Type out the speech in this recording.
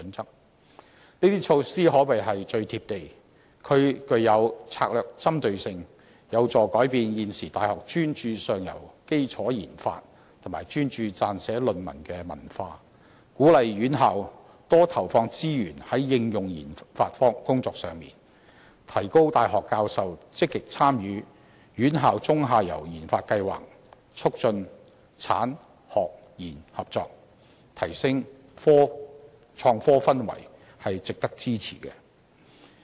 這些措施可謂最"貼地"，具有策略針對性，有助改變現時大學專注上游基礎研發及撰寫論文的文化，鼓勵院校多投放資源在應用研發工作上，提高大學教授積極參與"院校中游研發計劃"，促進產、學、研合作，提升創科氛圍，值得支持。